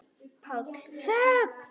PÁLL: Þögn!